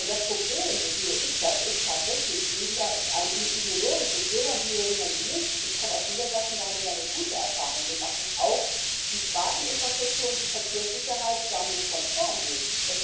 Das Problem so sehe ich das ist tatsächlich weniger ein ideologisches Will man die, oder will man die nicht? Ich komme aus Niedersachsen, da haben wir damit gute Erfahrungen gemacht, dass auch die Straßeninfrastruktur und die Verkehrssicherheit damit konform gehen.